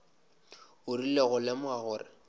o rile go lemoga gore